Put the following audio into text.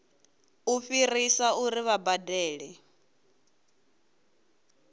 u fhirisa uri vha badele